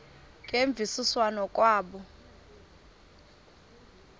ngemvisiswano r kwabo